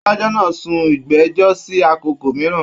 Adájọ náà sún ìgbẹjọ sí àkókò mìíràn.